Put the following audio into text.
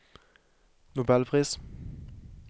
nobelpris